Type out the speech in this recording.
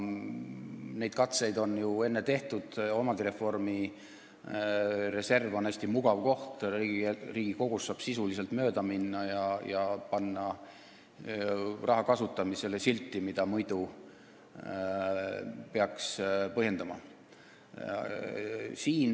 Neid katseid on ju ennegi tehtud, omandireformi reserv on selleks hästi mugav koht, Riigikogust saab sisuliselt mööda minna ja panna raha kasutamisele lihtsalt silt, mida muidu peaks põhjendama.